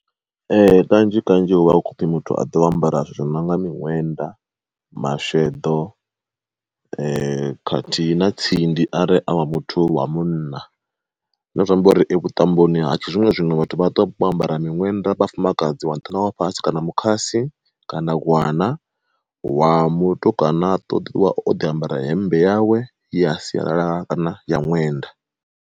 Ee kanzhi kanzhi hu vha hu khou pfhi muthu aḓe o a ambara zwo nonga miṋwenda, masheḓo khathihi na tsindi are a wa muthu wa munna. Zwine zwa amba uri vhuṱamboni ha tshi zwino zwino vhathu vha ṱuwa vho ambara miṅwenda vhafumakadzi wa nṱha ṋawa fhasi kana mukhasi kana gwana wa mutukana aḓi ṱoḓiwa o ḓi ambara hemmbe yawe ya sialala kana ya ṅwenda.